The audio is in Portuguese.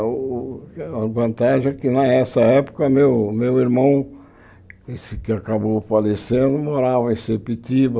O a vantagem é que nessa época meu meu irmão, esse que acabou falecendo, morava em Sepitiba.